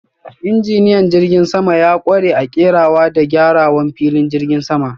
Injiniyan jirgin sama ya kware a kerawa da gyarawan filin jigin sama.